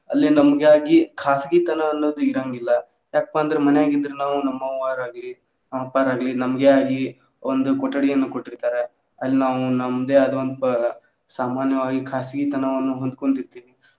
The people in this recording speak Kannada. ಅಲ್ಲಿ ನಮಗಾಗಿ ಖಾಸಗಿ ತನ ಅನ್ನೋದು ಇರೋಂಗಿಲ್ಲಾ ಯಾಕಪಾ ಅಂದ್ರ ಮನ್ಯಾಗ ಇದ್ರೆ ನಾವು ನಮ್ಮವ್ವಾರ ಆಗ್ಲಿ, ನಮ್ಮ ಅಪ್ಪಾರ ಆಗ್ಲಿ, ನಮ್ಗೆ ಆಗ್ಲಿ ಒಂದ್ ಕೊಠಡಿಯನ್ನ ಕೊಟ್ಟಿರ್ತಾರ ಅಲ್ಲಿ ನಾವು ನಮ್ದೆ ಆದಂತ ಸಾಮಾನ್ಯವಾಗಿ ಖಾಸಗಿ ತನವನ್ನ ಹೊಂದ್ಕೊಂದಿರ್ತೇವಿ.